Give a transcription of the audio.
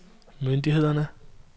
myndighederne